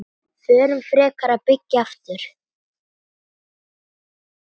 Förum frekar að byggja aftur.